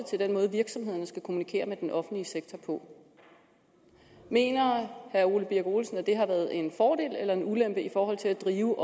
til den måde virksomhederne skal kommunikere med den offentlige sektor på mener herre ole birk olesen at det har været en fordel eller en ulempe i forhold til at drive